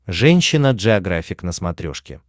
женщина джеографик на смотрешке